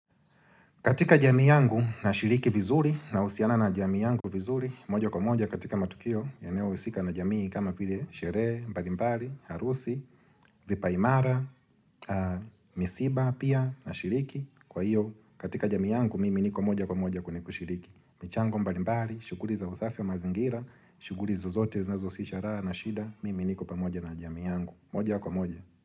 Katika jamii yangu nashiriki vizuri, nahusiana na jamii yangu vizuri, moja kwa moja katika matukio, yanayohusika na jamii kama vile, sherehe, mbalimbali, harusi, vipaimara, misiba, pia, nashiriki. Kwa hiyo, katika jamii yangu, mimi niko moja kwa moja kwenye kushiriki. Michango mbalimbali, shughuli za usafi wa mazingira, shughuli zozote zinazo husisha raha na shida, mimi niko pamoja na jamii yangu. Moja kwa moja.